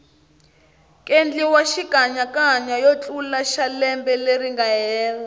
kendliwa xikanyakanya yotlala xalembe leringa hela